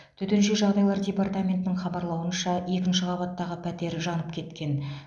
төтенше жағдайлар департаментінің хабарлауынша екінші қабаттағы пәтер жанып кеткен